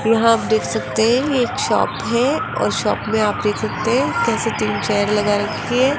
यहां आप देख सकते हैं एक शॉप है और शॉप में आप देख सकते हैं कैसे तीन चेयर लगा रखी है।